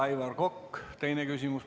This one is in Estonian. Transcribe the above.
Aivar Kokk, teine küsimus.